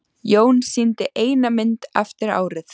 Jón sýndi eina mynd eftir árið.